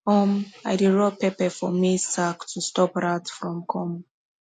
um i dey rub pepper for maize sack to stop rat from come